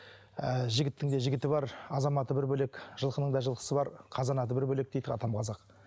ііі жігіттің де жігіті бар азаматы бір бөлек жылқының да жылқысы бар қазан аты бір бөлек дейді атам қазақ